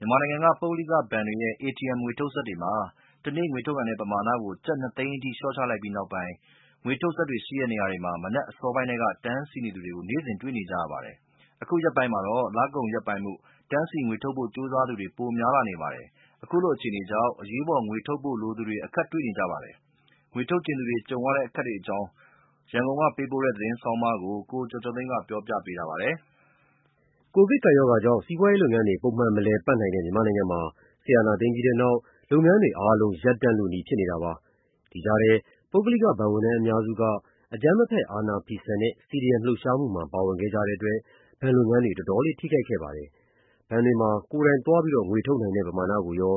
မြန်မာနိုင်ငံက ပုဂ္ဂလိကဘဏ်တွေရဲ့ ATM ငွေထုတ်စက်တွေမှာ တနေ့ ငွေထုတ်နိုင်တဲ့ ပမာဏကို ကျပ် ၂ သိန်းအထိ လေ ျှာ့ချလိုက်ပြီးနောက်ပိုင်း ငွေထုတ်စက်တွေရှိတဲ့ နေရာတွေမှာ မနက်အစောပိုင်းထဲက တန်းစီနေသူတွေကို နေ့စဉ်တွေ့နေရပါတယ်။ အခုရက်ပိုင်းမှာတော့ လကုန်ရက်ပိုင်းမို့ တန်းစီ ငွေထုတ်ဖို့ ကြိုးစားသူတွေ ပိုများနေပါတယ်။ ခုလိုအခြေအနေကြောင့် အရေးပေါ် ငွေထုတ်သုံးဖို့ လိုသူတွေ အခက်တွေ့နေကြပါတယ်။ ငွေထုတ်ချင်သူတွေ ကြုံနေရတဲ့အခက်အခဲအကြောင်း ရန်ကုန်မြို့က ပေးပို့တဲ့ သတင်းဆောင်းပါးကို ကိုကျော်ကျော်သိန်းက ပြောပြထားပါတယ်။ ကိုဗစ်ကပ်ရောဂါကြောင့် စီးပွာရေးလုပ်ငန်းတွေ ပုံမှန် မလည်ပတ်နိုင်တဲ့ မြန်မာနိုင်ငံမှာ စစ်အာဏာသိမ်းပြီးနောက် လုပ်ငန်းတွေအားလုံး ရပ်တန့်လု ဖြစ်နေတာပါ။ ဒီကြားထဲ ပုဂ္ဂလိကဘဏ်ဝန်ထမ်းအများစုက အကြမ်းမဖက် အာဏာဖီဆန်တဲ့ CDM လှုပ်ရှားမှုမှာ ပါဝင်ခဲ့ကြတဲ့အတွက် ဘဏ်လုပ်ငန်းတွေ တော်တော်လေးထိခိုက်ခဲ့ပါတယ်။ ဘဏ်တွေမှာ ကိုယ်တိုင်သွားငွေထုတ်နိုင်တဲ့ ပမာဏကိုရော